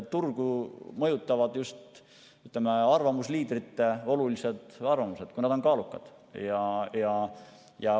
Turgu mõjutavad just arvamusliidrite olulised arvamused, kui need on kaalukad.